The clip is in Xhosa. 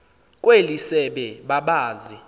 kweli sebe babazi